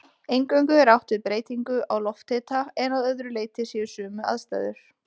Eingöngu er átt við breytingu á lofthita en að öðru leyti séu sömu aðstæður.